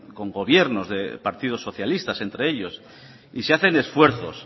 con gobiernos de partidos socialistas entre ellos y se hacen esfuerzos